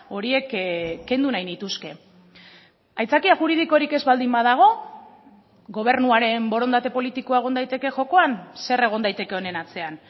horiek kendu nahi nituzke aitzakia juridikorik ez baldin badago gobernuaren borondate politikoa egon daiteke jokoan zer egon daiteke honen atzean